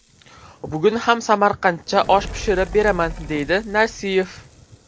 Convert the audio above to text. Bugun ham samarqancha osh pishirib beraman”, deydi Narsiyev.